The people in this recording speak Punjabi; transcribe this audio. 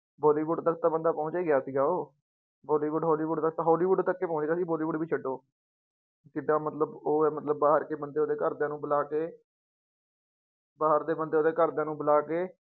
ਬੋਲੀਵੁਡ ਤੱਕ ਤਾਂ ਬੰਦਾ ਪਹੁੰਚ ਹੀ ਗਿਆ ਸੀਗਾ ਉਹ, ਬੋਲੀਵੁਡ ਹੋਲੀਵੁਡ ਤੱਕ ਹੋਲੀਵੁਡ ਤੱਕ ਹੀ ਪਹੁੰਚ ਗਿਆ ਸੀ, ਬੋਲੀਵੁਡ ਵੀ ਛੱਡੋ ਕਿੱਡਾ ਮਤਲਬ ਉਹ ਹੈ ਮਤਲਬ ਬਾਹਰ ਕੇ ਬੰਦੇ ਉਹਦੇ ਘਰਦਿਆਂ ਨੂੰ ਬੁਲਾ ਕੇ ਬਾਹਰ ਦੇ ਬੰਦੇ ਉਹਦੇ ਘਰਦਿਆਂ ਨੂੰ ਬੁਲਾ ਕੇ